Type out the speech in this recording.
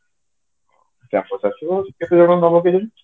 campus ଆସିବ କେତେଜଣ ନବ କେଜାଣି